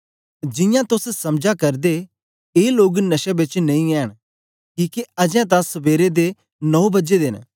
जियां तोस समझा करदे ए लोग नशे बेच नेई ऐंन किके अजें तां सबेरे दे नौं बजे दे न